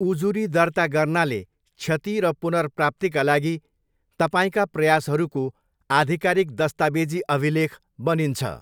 उजुरी दर्ता गर्नाले क्षति र पुनर्प्राप्तिका लागि तपाईँका प्रयासहरूको आधिकारिक दस्तावेजी अभिलेख बनिन्छ।